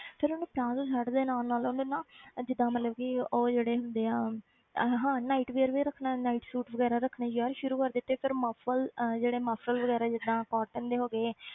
ਫਿਰ ਉਹਨੇ plazo set ਦੇ ਨਾਲ ਨਾਲ ਉਹਨੇ ਨਾ ਇਹ ਜਿੱਦਾਂ ਮਤਲਬ ਕਿ ਉਹ ਜਿਹੜੇ ਹੁੰਦੇ ਆ ਅਹ ਹਾਂ night wear ਵੀ ਰੱਖਣੇ night suits ਵਗ਼ੈਰਾ ਰੱਖਣੇ ਯਾਰ ਸ਼ੁਰੂ ਕਰ ਦਿੱਤੇ ਫਿਰ muffle ਅਹ ਜਿਹੜੇ muffle ਵਗ਼ੈਰਾ ਜਿੱਦਾਂ cotton ਦੇ ਹੋ ਗਏ।